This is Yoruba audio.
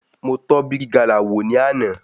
Mo tọ́ bígí galà wò ní àná.